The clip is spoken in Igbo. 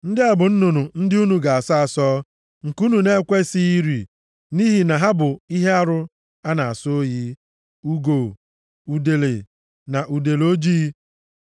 “ ‘Ndị a bụ nnụnụ ndị unu ga-asọ asọ, nke unu na-ekwesighị iri nʼihi na ha bụ ihe arụ a na-asọ oyi: ugo, udele na udele ojii,